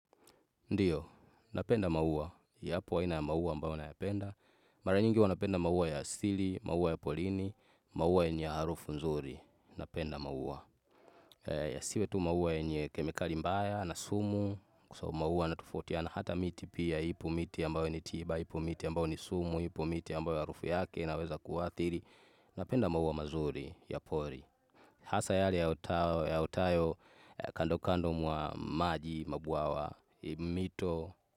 Ndiyo, napenda maua, yapo aina ya maua ambayo nayapenda. Mara nyingi huwa napenda maua ya asili, maua ya porini, maua yenye harufu nzuri, napenda maua. Yasiwe tu maua yenye kemikali mbaya na sumu, kwa sababu maua yanatofautiana, hata miti pia, ipo miti ambayo ni tiba, ipo miti ambayo ni sumu, ipo miti ambayo harufu yake inaweza kuadhiri, napenda maua mazuri ya pori. Hasa yale yaotayo kando kando mwa maji, mabwawa, mito.